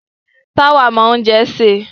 Táwà mọ oúnjẹ sè.